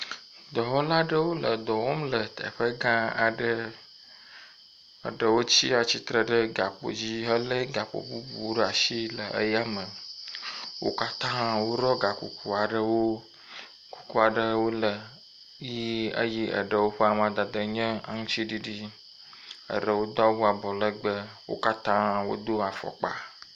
Dɔwɔla ɖewo le dɔ wɔm le teƒe gã aɖe. Eɖewo tsi atsitre ɖe gakpo dzi hele gakpo bubuwo ɖe asi le eya me. Wo katã woɖɔ ga kuku aɖewo. Kuku aɖewo le ʋi eye eɖewo ƒe amadede nye aŋtiɖiɖi. Wo katã wodo afɔkpa.